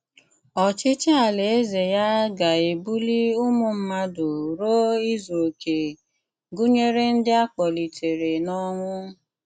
Ọ̀chịchì Àlàézè ya gà-ebùlì ụmụ̀ mmádụ̀ rùo ìzù òké, gụ̀nyerè ndị̀ a kpọ̀lìtèrè̀ n’ọ̀nwú.